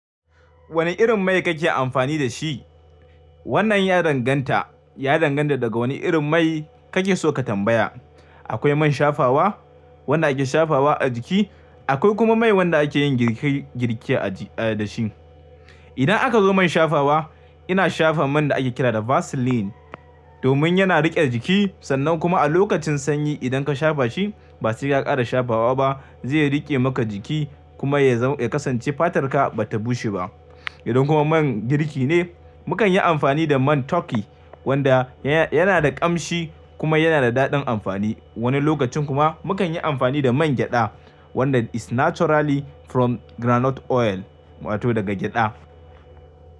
Wane irin mai kake amfani da shi? Wannan ya danganta. Ya danganta daga wane irin mai kake so ka tambaya. Akwai man shafawa, wanda ake shafawa a jiki, akwai kuma mai wanda ake yin girki girke da shi. Idan aka zo man shafawa, ina shafa man da ake kira da Vaseline domin yana riƙe jiki sannan kuma a lokacin sanyi idan ka shafa shi, ba sai ka ƙara shafawa ba, zai riƙe maka jiki kuma ya za-- kasance fatarka ba ta bushe ba. Idan kuma man girki ne, mu kan yi amfani da man turkey wanda yana da ƙamshi kuma yana da daɗin amfani. Wani lokacin kuma mu kan yi amfani da man gyaɗa wanda is naturally from groundnut oil wato daga gyaɗa.